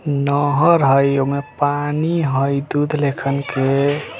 नहर हएओमे पानी हये दूध लेखन के।